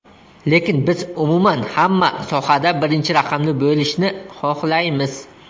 Lekin biz umuman hamma sohada birinchi raqamli bo‘lishni xohlaymiz.